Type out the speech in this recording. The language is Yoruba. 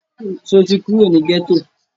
Sọ ti kúrò ní gẹ́tọ̀?